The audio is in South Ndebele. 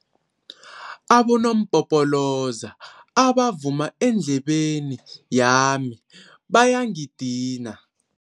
Abonompopoloza abavuma endlebeni yami bayangidina.